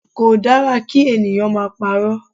Kò dára kí ènìyàn máa parọ́.